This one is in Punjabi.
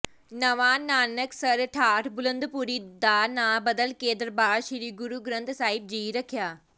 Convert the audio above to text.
ਨਵਾਂ ਨਾਨਕਸਰ ਠਾਠ ਬੁਲੰਦਪੁਰੀ ਦਾ ਨਾਂ ਬਦਲ ਕੇ ਦਰਬਾਰ ਸ੍ਰੀ ਗੁਰੂ ਗ੍ਰੰਥ ਸਾਹਿਬ ਜੀ ਰੱਖਿਆ